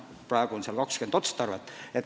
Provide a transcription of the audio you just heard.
Praegu on seal 20 otstarvet.